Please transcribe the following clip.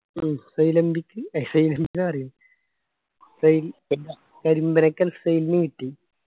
ഉം കരിമ്പനക്കൽ സെൻ നു കിട്ടി